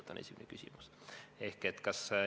See on esimene küsimus.